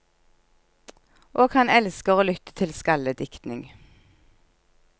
Og han elsker å lytte til skaldediktning.